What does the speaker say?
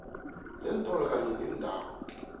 zeentolo kanye neendawo